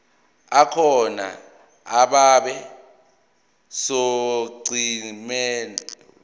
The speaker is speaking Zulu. akhona abe sonqenqemeni